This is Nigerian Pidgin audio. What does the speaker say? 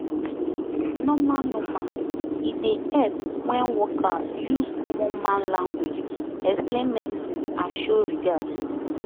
normal normal e dey help wen worker use common man language explain medicine and show regard